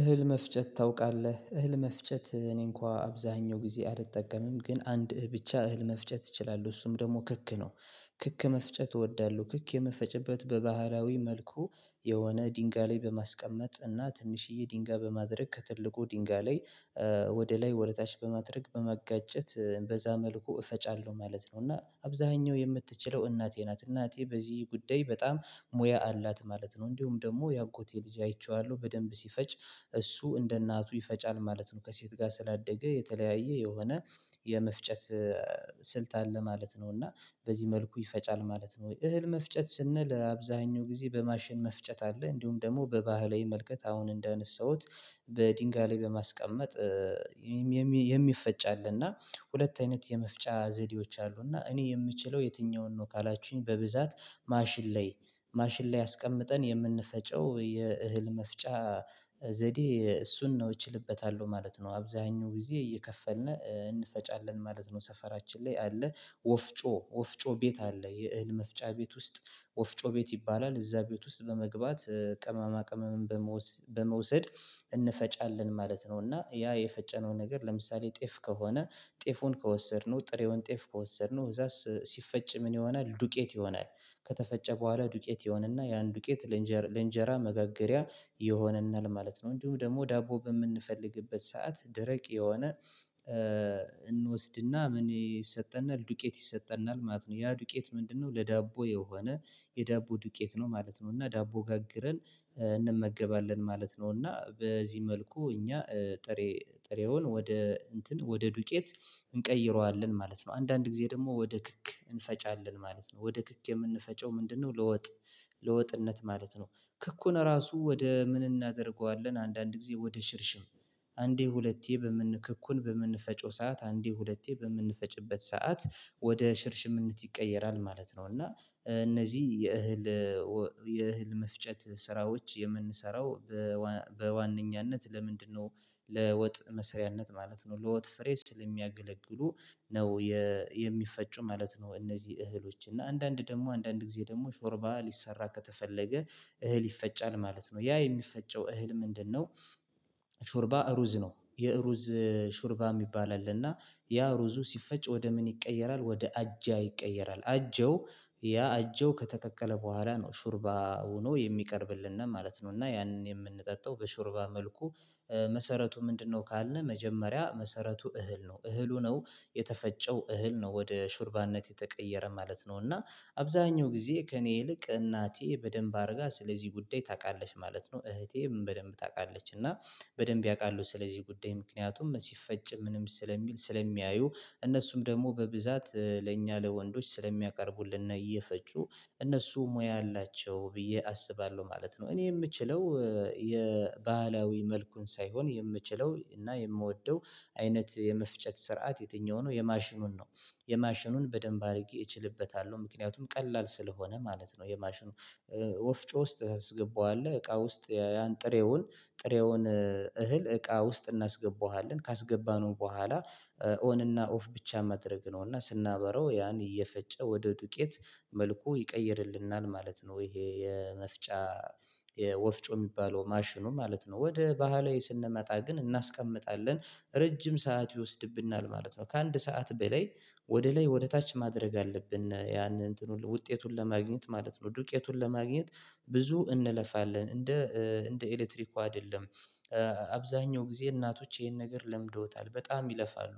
እህል መፍጨት ታውቃለህ እህል መፍጨት እኔ እንኳን አብዛኛው ጊዜ አልጠቀምም ግን አንድ ብቻ እህል መፍጨት እችላለሁ እሱም ደግሞ ክክ ነው። ክክ መፍጨት እወዳለሁ ክክ የመፈጨበት በባህራዊ መልኩ የሆነ ድንጋይ ላይ በማስቀመጥ እና ትንሽዬ ድንጋይ በማድረግ ከትልቁ ድንጋይ ላይ ወደ ላይ ወደ ታች በማድረግ በመጋጨት በዛ መልኩ እፈጫለሁ ማለት ነው። እና አብዛኛው የምትችለው እናቴ ናት እናቴ በዚህ ጉዳይ በጣም ሙያ አላት ማለት ነው። እንዲሁም ደግሞ የአጎቴ ልጅ አይቼዋለሁ በደንብ ሲፈጭ እሱ እንደ እናቱ ይፈጫል ማለት ነው። ከሴት ጋር ስላደገ የተለያየ የሆነ የመፍጨት ስልት አለ ማለት ነው። እና በዚህ መልኩ ይፈጫል ማለት ነው። ወይ እህል መፍጨት ስንል አብዛኛው ጊዜ በማሽን መፍጨት አለ እንዲሁም ደግሞ በባህል መልከት አሁን እንደ አነሳሁት። በድንጋይ ላይ በማስቀመጥ አለ እና ሁለት አይነት የመፍጫ ዘዴዎች አሉ እና እኔ የምችለው የትኛውን ነው? ካላችሁኝ በብዛት ማሽን ላይ ማሽን ላይ አስቀምጠን የምንፈጨው የእህል መፍጫ ዘዴ እሱን ነው እችልበታለሁ ማለት ነው። አብዛኛው ጊዜ እየከፈልን እንፈጫለን ማለት ነው። ሰፈራችን ላይ አለ ወፍጮ ወፍጮ ቤት አለ የእህል መፍጫ ቤት ውስጥ ወፍጮ ቤት ይባላል እዛ ቤት ውስጥ በመግባት ቅማማ ቅመምም በመውሰድ እንፈጫለን ማለት ነው። እና ያ የፈጨነው ነገር ለምሳሌ ጤፍ ከሆነ ጤፉን ከወሰድነው ጥሬውን ጤፍ ከወሰድነው እዛስ ሲፈጭ ምን ይሆናል ዱቄት ይሆናል። ከተፈጨ በኋላ ዱቄት ይሆንና ያን ዱቄት ለእንጀራ መጋገሪያ ይሆናል ማለት ነው። እንዲሁም ደግሞ ዳቦ በምንፈልግበት ሰዓት ደረቅ የሆነ እንወስድና ምን ይሰጠናል ዱቄት ይሰጠናል ማለት ነው። ያ ዱቄት ምንድነው? ለዳቦ የሆነ የዳቦ ዱቄት ነው ማለት ነው። እና ዳቦ ጋግረን እንመገባለን ማለት ነው። እና በዚህ መልኩ እኛ ጥሬ ጥሬውን ወደ እንትን ወደ ዱጬት እንቀይረዋለን ማለት ነው። አንዳንድ ጊዜ ደግሞ ወደ ክክ እንፈጫለን ማለት ነው ወደ ክክ የምንፈጨው ምንድነው? ለወጥ ለወጥነት ማለት ነው። ክኩን ራሱ ወደ ምን እናደርገዋለን አንዳንድ ጊዜ ወደ ሽርሽም አንዴ ሁለቴ በምን ክኩን በምንፈቸው ሰዓት አንዴ ሁለቴ በምንፈጭበት ሰዓት ወደ ሽርሽምነት ይቀየራል ማለት ነው። እና እነዚህ የእህል የእህል መፍጨት ስራዎች የምንሰራው በዋነኛነት ለምንድነው ለወጥ መስሪያነት ማለት ነው ለወጥ ፍሬ ስል የሚያገለግሉ ነው የሚፈጩ ማለት ነው። እነዚህ እህሎች እና አንዳንድ ደግሞ አንዳንድ ጊዜ ደግሞ ሾርባ ሊሰራ ከተፈለገ እህል ይፈጫል ማለት ነው። ያ የሚፈጨው እህል ምንድነው? ሹርባ ሩዝ ነው የሩዝ ሹርባ የሚባል አለ እና ያ ሩዙ ሲፈጭ ወደ ምን ይቀየራል ወደ አጃ ይቀየራል አጀው ያ አጀው ከተቀቀለ በኋላ ነው ሹርባ ሆኖ የሚቀርብልን ማለት ነው። እና ያንን የምንጠጣው በሹርባ መልኩ መሰረቱ ምንድነው? ካልነህ መጀመሪያ መሰረቱ እህል ነው እህሉ ነው የተፈጨው እህል ነው ወደ ሹርባነት የተቀየረ ማለት ነው። እና አብዛኛው ጊዜ ከእኔ ይልቅ እናቴ በደንብ አድርጋ ስለዚህ ጉዳይ ታውቃለሽ ማለት ነው። እህቴም በደንብ ታውቃለሽ እና በደንብ ያውቃሉ ስለዚህ ጉዳይ ምክንያቱም ሲፈጭ ምንም ስለሚል ስለሚያዩ እነሱም ደግሞ በብዛት ለኛ ለወንዶች ስለሚያቀርቡልን እና እየፈጩ እነሱ ሙያ አላቸው ብዬ አስባለሁ ማለት ነው። እኔ የምችለው የባህላዊ መልኩን ሳይሆን የምችለው እና የምወደው አይነት የመፍጨት ስርዓት የትኛው ነው? የማሽኑን ነው የማሽኑን በደንብ አድርጌ እችልበታለሁ ምክንያቱም ቀላል ስለሆነ ማለት ነው። የማሽኑ ወፍጮ ውስጥ አስገባዋለሁ እቃ ውስጥ ያን ጥሬውን ጥሬውን እህል እቃ ውስጥ እናስገባዋለን ካስገባነው በኋላ ኦን እና ኦፍ ብቻ ማድረግ ነው እና ስናበራው ያን እየፈጨ ወደ ዱቄት መልኩ ይቀይርልናል ማለት ነው ይሄ የመፍጫ ወፍጮ የሚባለው ማሽኑ ማለት ነው። ወደ ባህላዊ ስንመጣ ግን እናስቀምጣለን ረጅም ሰዓት ይወስድብናል ማለት ነው። ከአንድ ሰዓት በላይ ወደ ላይ ወደ ታች ማድረግ አለብን ያንን ውጤቱን ለማግኘት ማለት ነው ዱቄቱን ለማግኘት ብዙ እንለፋለን እንደ እንደ ኤሌክትሪኩ አይደለም። አብዛኛው ጊዜ እናቶች ይሄን ነገር ለምደውታል በጣም ይለፋሉ።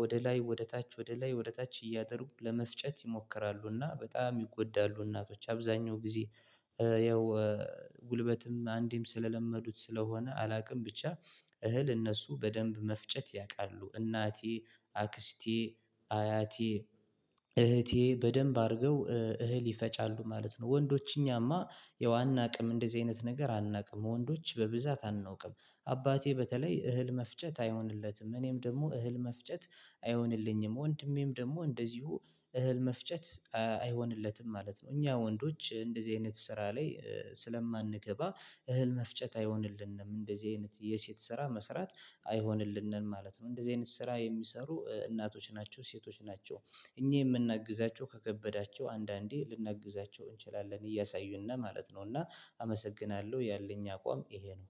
ወደ ላይ ወደ ታች ወደ ላይ ወደ ታች እያጠሩ ለመፍጨት ይሞክራሉና በጣም ይጎዳሉ እናቶች አብዛኛው ጊዜ ያው ጉልበትም አንዴም ስለለመዱት ስለሆነ አላውቅም ብቻ እህል እነሱ በደንብ መፍጨት ያውቃሉ እናቴ አክስቴ አያቴ እህቴ በደንብ አድርገው እህል ይፈጫሉ ማለት ነው። ወንዶች እኛማ ያው አናውቅም እንደዚህ አይነት ነገር አናውቅም ወንዶች በብዛት አናውቅም። አባቴ በተለይ እህል መፍጨት አይሆንለትም እኔም ደግሞ እህል መፍጨት አይሆንልኝም ወንድሜም ደግሞ እንደዚሁ እህል መፍጨት አይሆንለትም ማለት ነው። እኛ ወንዶች እንደዚህ አይነት ስራ ላይ ስለማንገባ እህል መፍጨት አይሆንልንም እንደዚህ አይነት የሴት ስራ መስራት አይሆንልንም ማለት ነው። እንደዚህ አይነት ስራ የሚሰሩ እናቶች ናቸው ሴቶች ናቸው። እኚህ የምናግዛቸው ከከበዳቸው አንዳንዴ ልናግዛቸው እንችላለን እያሳዩን ነው ማለት ነው። እና አመሰግናለሁ ያለኝ አቋም ይሄ ነው